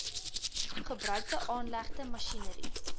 gebruikte aanlegte masjinerie